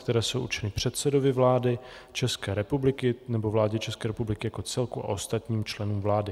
které jsou určeny předsedovi vlády České republiky nebo vládě České republiky jako celku a ostatním členům vlády.